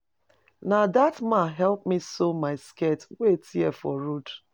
Na dat man help me sew my skirt wey tear for road.